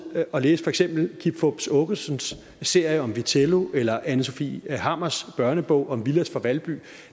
og læse for eksempel kim fupz aakesons serie om vitello eller anne sofie hammers børnebog om villads fra valby